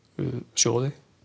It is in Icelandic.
sjóði